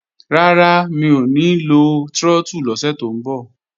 Rárá, mi ò ní lo trọ́tù lọ́sẹ̀ tó ń bọ̀